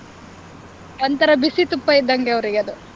ಒಂಥರ ಬಿಸಿ ತುಪ್ಪ ಇದ್ದಂಗೆ ಅವ್ರಿಗೆ ಅದು.